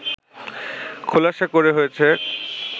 খোলাসা করা হয়েছে